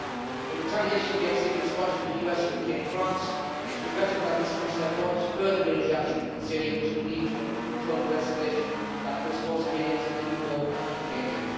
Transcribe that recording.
In retaliation we have seen the response from the US, UK and France. It is regrettable that these countries have launched further military action in Syria, which could lead to an uncontrollable escalation that puts more civilians in even more acute danger.